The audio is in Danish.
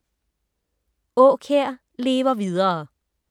Aakjær lever videre